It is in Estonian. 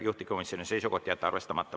Juhtivkomisjoni seisukoht on jätta arvestamata.